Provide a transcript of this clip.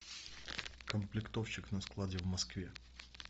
комплектовщик на складе в москве